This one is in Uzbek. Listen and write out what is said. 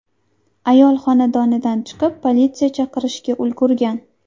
Ayol xonadonidan chiqib, politsiya chaqirishga ulgurgan.